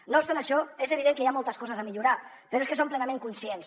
no obstant això és evident que hi ha moltes coses a millorar però és que en som plenament conscients